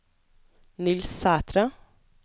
Niels Sætre